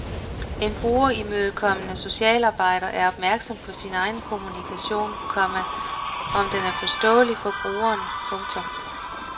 En brugerimødekommende socialarbejder er opmærksom på sin egen kommunikation, komma om den er forståelig for brugeren. punktum